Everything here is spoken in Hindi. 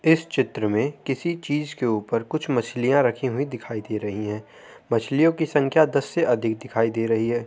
इस चित्र में किसी चीज के ऊपर कुछ मछलियाँ रखि हुई दिखाई दे रही हैं मछलियों की संख्या दस से अधिक दिखाई दे रही हैं।